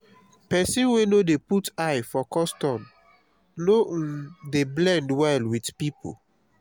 pesin wey no dey put eye for custom no um dey blend well with pipo